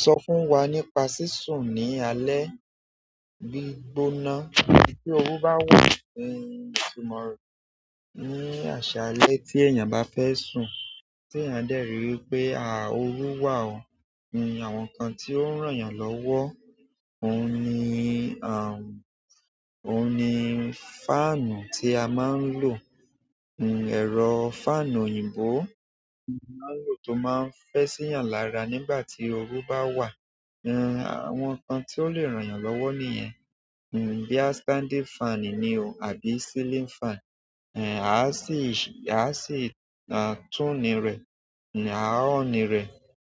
Sọ fún wa nípa sísun ní alé gbígbóná. Bí tí oru bá wà, ìtumọ̀ rẹ̀ ní àṣálẹ́ tí èèyàn bá fẹ́ sùn, tí èèyàn dẹ̀ ri wípé oru wà àwọn nǹkan tí ó ń ràn yàn lọ́wọ́. Òun ni òun ni fáànù tí a máa ń lò. Ẹ̀rọ fáànù òyìnbó a máa lò tó máa ń fẹ́ sí yàn lára nígbà tí oru bá wà. Àwọn nǹkan tí ó le ràn yàn lọ́wọ́ nìyẹn. Bíi standing fan ni o àbí ceiling fan. A sì a sì ma tún ní rẹ. Aa on ni re